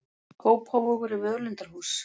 Kópavogur er völundarhús.